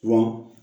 Wa